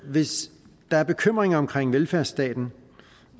hvis der er bekymringer omkring velfærdsstaten